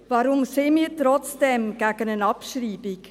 Warum sind wir trotzdem gegen eine Abschreibung?